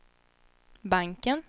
banken